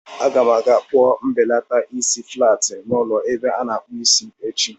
Aga m aga kpụọ mbelata isi dị flaat n'ụlọ ebe a na-akpụ isi echi.